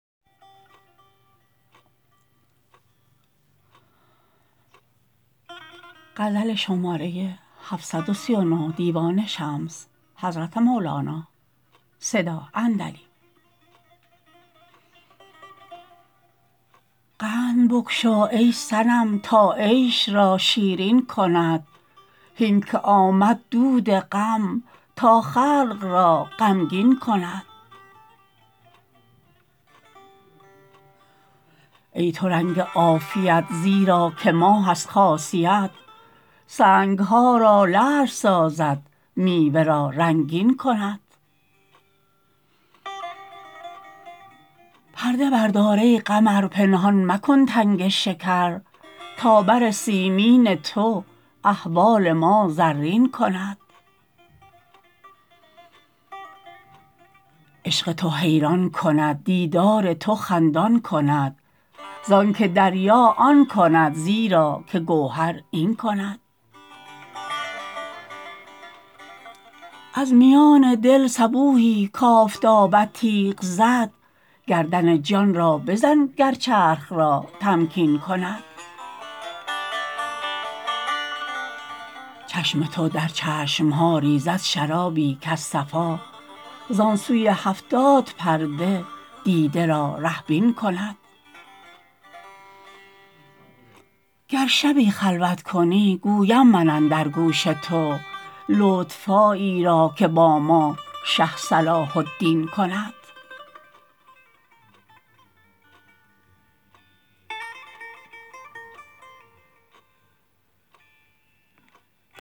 قند بگشا ای صنم تا عیش را شیرین کند هین که آمد دود غم تا خلق را غمگین کند ای تو رنگ عافیت زیرا که ماه از خاصیت سنگ ها را لعل سازد میوه را رنگین کند پرده بردار ای قمر پنهان مکن تنگ شکر تا بر سیمین تو احوال ما زرین کند عشق تو حیران کند دیدار تو خندان کند زانک دریا آن کند زیرا که گوهر این کند از میان دل صبوحی کآفتابت تیغ زد گردن جان را بزن گر چرخ را تمکین کند چشم تو در چشم ها ریزد شرابی کز صفا زان سوی هفتاد پرده دیده را ره بین کند گر شبی خلوت کنی گویم من اندر گوش تو لطف هایی را که با ما شه صلاح الدین کند